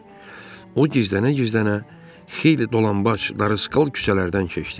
O gizlənə-gizlənə xeyli dolanbac, darısqal küçələrdən keçdi.